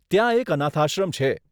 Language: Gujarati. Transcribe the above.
ત્યાં એક અનાથાશ્રમ છે.